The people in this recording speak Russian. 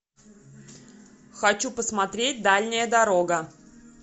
хочу посмотреть дальняя дорога